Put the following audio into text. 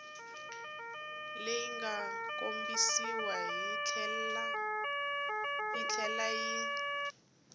leyi nga kombisiwa yitlhela yi